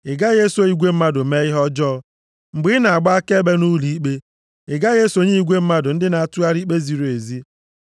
“Ị gaghị eso igwe mmadụ mee ihe ọjọọ. Mgbe ị na-agba akaebe nʼụlọikpe, ị gaghị esonye igwe mmadụ ndị na-atụgharị ikpe ziri ezi.